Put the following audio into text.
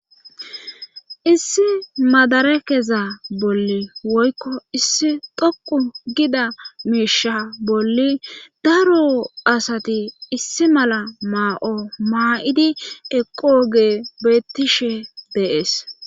Issi madarekeza bolli woykko issi dhoqu gida miisha bolli daro asati issi mala maa7o maa7idi eqo gee bettishe bees.